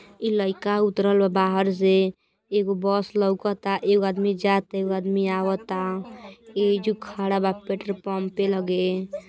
ई लइका उतरल बा बाहर से। एगो बस लउकता एगो आदमी जाता एगो आदमी आवता। एइजो खड़ा बा पेट्रोलपंपे लगे।